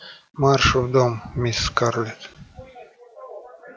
марш в дом мисс скарлетт